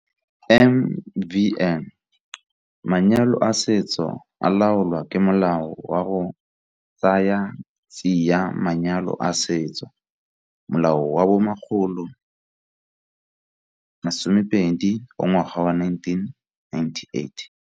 MvN. Manyalo a setso a laolwa ke Molao wa go Tsaya Tsia Manyalo a Setso, Molao wa bo 120 wa ngwaga wa 1998.